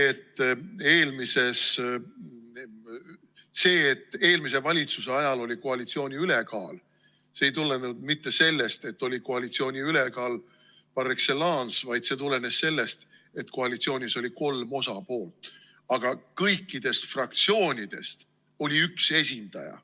See, et eelmise valitsuse ajal oli koalitsiooni ülekaal, ei tulenenud mitte sellest, et oli koalitsiooni ülekaal par excellence, vaid see tulenes sellest, et koalitsioonis oli kolm osapoolt, aga kõikidest fraktsioonidest oli üks esindaja.